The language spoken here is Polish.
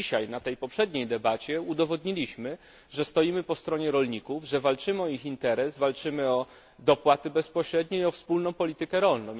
Dzisiaj, podczas poprzedniej debaty udowodniliśmy, że stoimy po stronie rolników, że walczymy o ich interes, walczymy o dopłaty bezpośrednie i o wspólną politykę rolną.